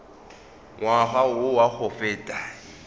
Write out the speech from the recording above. ngwaga wo wa go feta